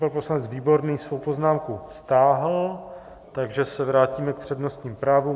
Pan poslanec Výborný svou poznámku stáhl, takže se vrátíme k přednostním právům.